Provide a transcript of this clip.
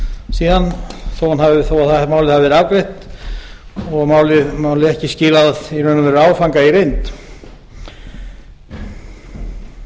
síðan þó að málið hafi verið afgreitt og málið ekki skilað í raun og veru áfanga